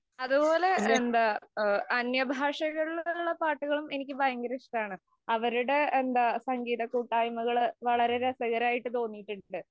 അതുപോലെ എന്താ, അന്യഭാഷകളില്‍ ഉള്ള പാട്ടുകളും എനിക്ക് ഭയങ്കര ഇഷ്ടമാണ്. അവരുടെ എന്താ സംഗീതകൂട്ടായ്മകള് വളരെ രസകരമായിട്ടു തോന്നിയിട്ടുണ്ട്.